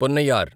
Ponnaiyar